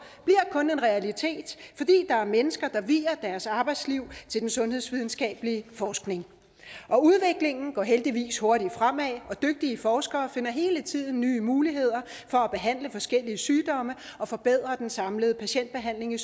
bliver kun en realitet fordi der er mennesker der vier deres arbejdsliv til den sundhedsvidenskabelige forskning og udviklingen går heldigvis hurtigt fremad og dygtige forskere finder hele tiden nye muligheder for at behandle forskellige sygdomme og forbedre den samlede patientbehandling i